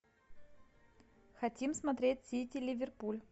хотим смотреть сити ливерпуль